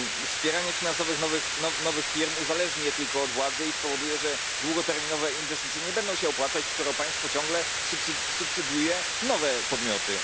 Wspieranie finansowe nowych firm uzależni je tylko od władzy i spowoduje, że długoterminowe inwestycje nie będą się opłacać, skoro państwo ciągle subsydiuje nowe podmioty.